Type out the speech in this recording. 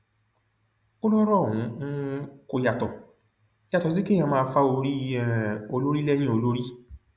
ó lọrọ ọhún um kò yàtọ yàtọ sí kéèyàn máa fa orí um olórí lẹyìn olórí